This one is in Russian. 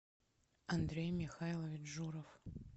андрей михайлович журов